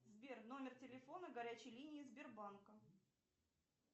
сбер номер телефона горячей линии сбербанка